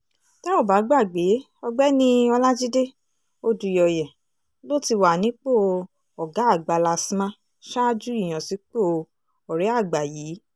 tẹ́ ò bá gbàgbé ọ̀gbẹ́ni ọlajide odùyọ̀yẹ̀ ló ti wà nípò ọ̀gá àgbà lastma ṣáájú ìyànsípò ọ̀rẹ́àgbà yìí